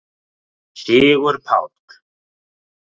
Sigurpáll